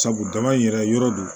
Sabu jama in yɛrɛ yɔrɔ do